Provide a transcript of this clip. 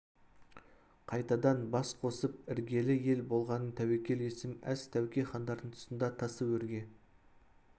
қайтадан бас қосып іргелі ел болғанын тәуекел есім әз тәуке хандардың тұсында тасы өрге